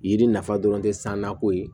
Yiri nafa dɔrɔn tɛ san nako ye